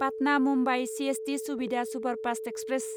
Patna Mumbai CST Suvidha superfast express